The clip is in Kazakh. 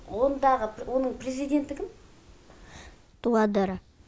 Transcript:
ондағы оның президенті кім дуадеро